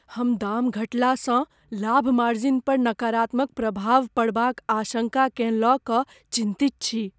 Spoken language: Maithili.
हम दाम घटलासँ लाभ मार्जिन पर नकारात्मक प्रभाव पड़बाक आशंका केँ लय कऽ चिन्तित छी।